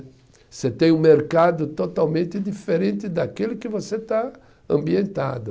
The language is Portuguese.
Você tem um mercado totalmente diferente daquele que você está ambientado.